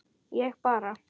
ég bara